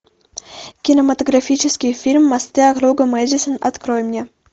кинематографический фильм мосты округа мэдисон открой мне